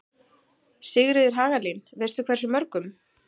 Sigríður Hagalín: Veistu hversu mörgum?